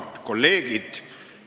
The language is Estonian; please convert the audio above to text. Head kolleegid!